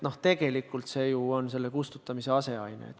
Tegelikult see on ju selle kustutamise aseaine.